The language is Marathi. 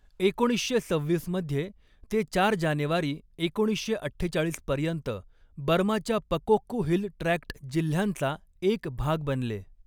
एकोणीसशे सव्हीस मध्ये, ते चार जानेवारी एकोणीसशे अठ्ठेचाळीस पर्यंत बर्माच्या पकोक्कू हिल ट्रॅक्ट जिल्ह्यांचा एक भाग बनले.